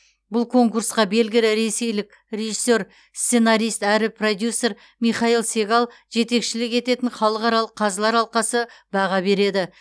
бұл конкурсқа белгілі ресейлік режиссер сценарист әрі продюсер михаил сегал жетекшілік ететін халықаралық қазылар алқасы баға береді